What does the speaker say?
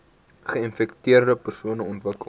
geinfekteerde persone ontwikkel